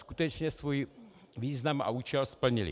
Skutečně svůj význam a účel splnily.